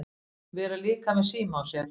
Vera líka með síma á sér.